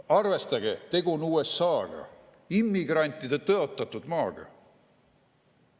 Arvestage, et tegu on USA‑ga, immigrantide tõotatud maaga!